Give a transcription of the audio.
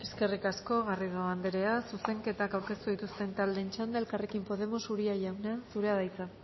eskerrik asko garrido andrea zuzenketak aurkeztu dituzten taldeen txanda elkarrekin podemos uria jauna zurea da hitza